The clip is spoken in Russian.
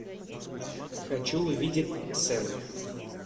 хочу увидеть сцена